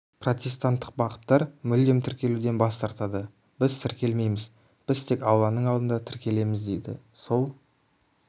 протестанттық бағыттар мүлдем тіркелуден бас тартады біз тіркелмейміз біз тек алланың алдында тіркелеміз дейді сол